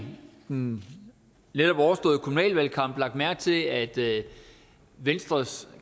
den netop overståede kommunale valgkamp lagt mærke til at venstres